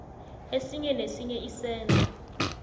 esinye nesinye isenzo